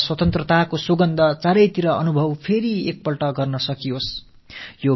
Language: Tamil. நாலாபுறமும் சுதந்திரத்தின் சுகமான மணம் மீண்டும் ஒரு முறை வீசட்டும்